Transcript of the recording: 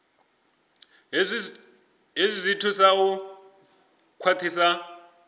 hezwi zwi thusa u khwaṱhisa